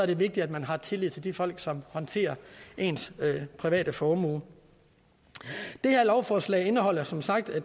det vigtigt at man har tillid til de folk som håndterer ens private formue det her lovforslag indeholder som sagt